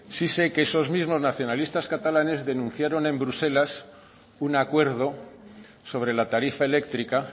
sí sé que esos mismos nacionalistas catalanes denunciaron en bruselas un acuerdo sobre la tarifa eléctrica